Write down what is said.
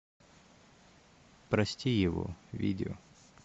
прости его видео